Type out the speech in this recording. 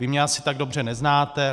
Vy mě asi tak dobře neznáte.